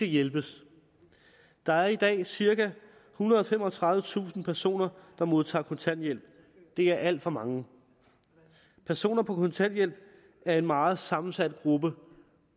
hjælpes der er i dag cirka ethundrede og femogtredivetusind personer der modtager kontanthjælp det er alt for mange personer på kontanthjælp er en meget sammensat gruppe